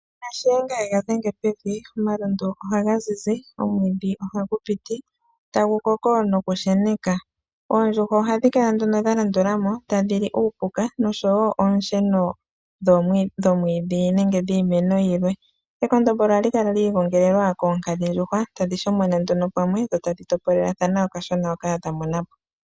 Sha tuu Shiyenga shaNangombe yega dhenge pevi, omalundu ohaga zizi, omwiidhi ohagu piti tagu koko nokusheneka. Oondjuhwa ohadhi kala dha landula mo tadhi li uupuka nosho wo oonsheno dhomwiidhi nenge dhiimeno yilwe. Ekondombolo ohali kala li igongelelwa koonkadhindjuhwa tadhi shomona pamwe dho tadhi topolelathana okashona hoka yamona po.